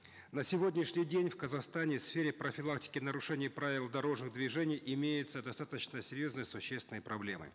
на сегодняшний день в казахстане в сфере профилактики нарушения правил дорожного движения имеются достаточно серьезные существенные проблемы